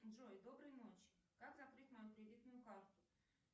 джой доброй ночи как закрыть мою кредитную карту